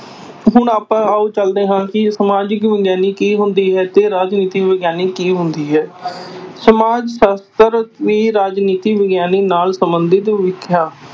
ਹੁਣ ਆਪਾਂ ਆਓ ਚੱਲਦੇ ਹਾਂ ਕਿ ਸਮਾਜਿਕ ਵਿਗਿਆਨੀ ਕੀ ਹੁੰਦੀ ਹੈ ਤੇ ਰਾਜਨੀਤੀ ਵਿਗਿਆਨੀ ਕੀ ਹੁੰਦੀ ਹੈ ਸਮਾਜ ਸ਼ਾਸਤਰ ਵੀ ਰਾਜਨੀਤੀ ਵਿਗਿਆਨੀ ਨਾਲ ਸੰਬੰਧਿਤ